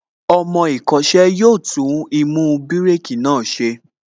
Ọmọ ìkọ́ṣẹ́ yóò tún īmú bírèkī náà ṣe